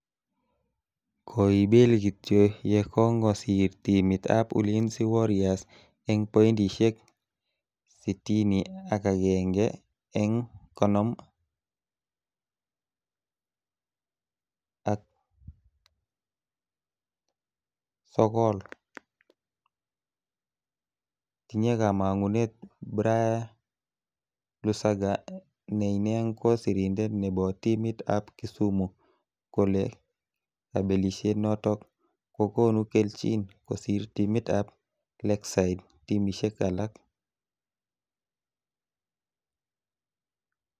Koibel kityo yekongosir timit ab Ulinzi Warriors eng pointishek 61 eng 59, tinye kama'ngunet Bria Lusaga ne inee ko Sirindet nebo timit ab Kisumu kole kabelishet notok kokonu kelchin kosir timit ab Lakeside timishek alak.